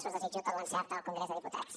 us desitjo tot l’encert al congrés dels diputats